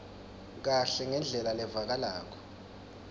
kahle ngendlela levakalako